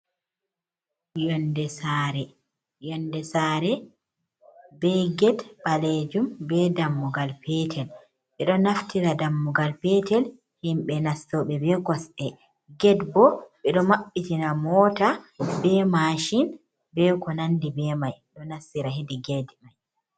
Yonnde saare be get ɓaleejum be dammugal peetel ɓe ɗo naftira dammugal peetel himɓe nastoɓe be kosɗe, get bo ɓe ɗo maɓɓitina Moota be Maacin be ko nanndi be may ɗo nastira heedi get may.